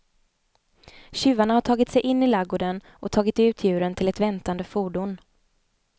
Tjuvarna har tagit sig in i ladugården och tagit ut djuren till ett väntande fordon.